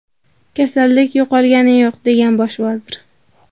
Kasallik yo‘qolgani yo‘q”, degan bosh vazir.